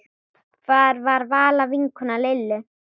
Það var Vala vinkona Lillu.